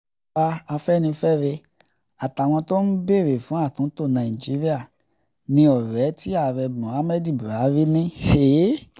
àwa afẹ́nifẹ́re àtàwọn tó ń béèrè fún àtúntò nàíjíríà ní ọrẹ tí ààrẹ mohammadu buhari ní